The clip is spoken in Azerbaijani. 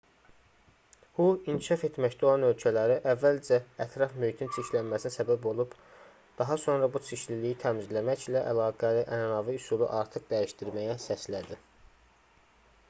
hu inkişaf etməkdə olan ölkələri əvvəlcə ətraf mühitin çirklənməsinə səbəb olub daha sonra bu çirkliliyi təmizləməklə əlaqəli ənənəvi üsulu artıq dəyişdirməyə səslədi